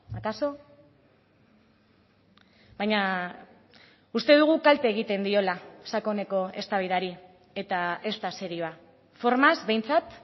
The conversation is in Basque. akaso baina uste dugu kalte egiten diola sakoneko eztabaidari eta ez da serioa formaz behintzat